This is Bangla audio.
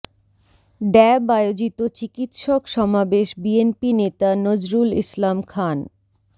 ড্যাব আয়োজিত চিকিৎসক সমাবেশ বিএনপি নেতা নজরুল ইসলাম খান